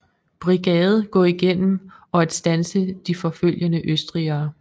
Brigade gå igennem og at standse de forfølgende østrigere